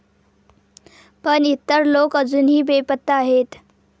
पण इतर लोक अजूनही बेपत्ता आहेत.